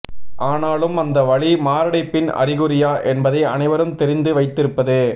ஆனாலும் அந்த வலி மாரடைப்பின் அறிகுறியா என்பதை அனைவரும் தெரிந்து வைத்திருப்பது